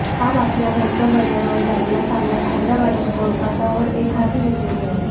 आज आपल्या घरच्या मैदानावर झालेल्या सामन्यात हैदराबादनं कोलकातावर एकहाती विजय मिळवला